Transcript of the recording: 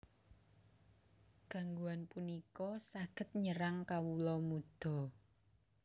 Gangguan punika saged nyerang kawula muda